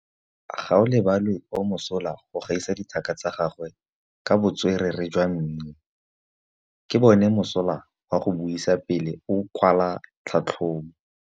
Gaolebalwe o mosola go gaisa dithaka tsa gagwe ka botswerere jwa mmino. Ke bone mosola wa go buisa pele o kwala tlhatlhobô.